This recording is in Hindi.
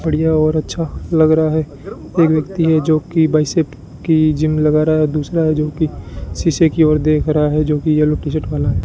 बढ़िया और अच्छा लग रहा है एक व्यक्ति है जो बाइसेप्स की जिम लगा रहा है दूसरा है जोकि शीशे की ओर देख रहा है जोकि यह येलो टी-शर्ट वाला --